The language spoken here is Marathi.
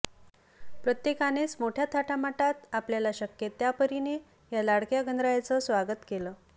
प्रत्येकानेच मोठ्या थाटामाटात आपल्याला शक्य त्या परिने या लाडक्या गणरायाचं स्वागत केलं